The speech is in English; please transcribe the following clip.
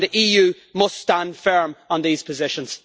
The EU must stand firm on these positions.